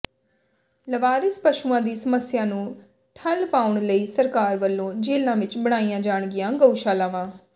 ਲਾਵਾਰਿਸ ਪਸ਼ੂਆਂ ਦੀ ਸਮੱਸਿਆ ਨੂੰ ਠੱਲ੍ਹ ਪਾਉਣ ਲਈ ਸਰਕਾਰ ਵੱਲੋਂ ਜੇਲ੍ਹਾਂ ਵਿੱਚ ਬਣਾਈਆਂ ਜਾਣਗੀਆਂ ਗਊਸ਼ਾਲਾਵਾਂ